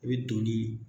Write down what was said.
I bɛ donni